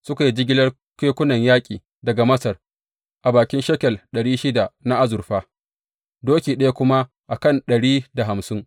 Suka yi jigilar kekunan yaƙi daga Masar a bakin shekel ɗari shida na azurfa, doki ɗaya kuma a kan ɗari da hamsin.